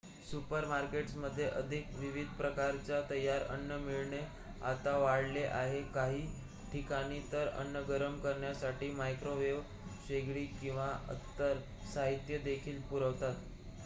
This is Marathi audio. सुपरमार्केट्समध्ये अधिक विविध प्रकारचे तयार अन्न मिळणे आता वाढले आहे काही ठिकाणी तर अन्न गरम करण्यासाठी मायक्रोवेव्ह शेगडी किंवा इतर साहित्य देखील पुरवतात